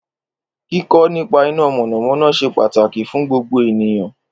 Kíkọ́ nípa iná mọ̀nàmọ́ná ṣe pàtàkì fún gbogbo ènìyàn